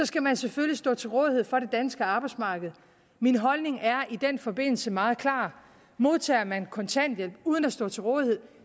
skal man selvfølgelig stå til rådighed for det danske arbejdsmarked min holdning er i den forbindelse meget klar modtager man kontanthjælp uden at stå til rådighed